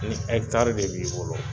N ɛkitari de b'i bolo